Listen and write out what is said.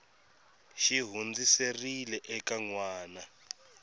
xi hundziserile eka n wana